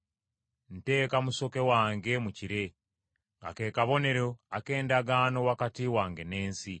Nteeka musoke wange mu kire, nga ke kabonero ak’endagaano wakati wange n’ensi.